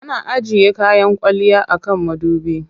Ana ajiye kayan kwalliya a kan madubi.